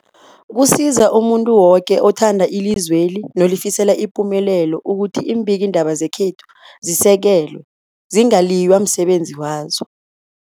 Kusiza umuntu woke othanda ilizweli nolifisela ipumelelo ukuthi iimbikiindaba zekhethu zisekelwe, zingaliywa emsebenzini wazo.